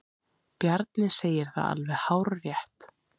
Bjarni segir það alveg hárrétt.